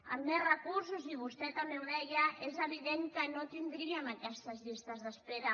amb més recursos i vostè també ho deia és evident que no tindríem aquestes llistes d’espera